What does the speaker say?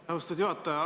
Aitäh, austatud juhataja!